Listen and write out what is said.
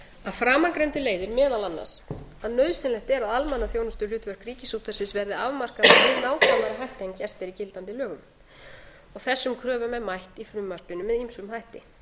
að framangreindu leiðir meðal annars að nauðsynlegt er að almannaþjónustuhlutverk ríkisútvarpsins verði afmarkað með nákvæmari hætti en gert er í gildandi lögum þessum kröfum er mætt í frumvarpinu með ýmsum hætti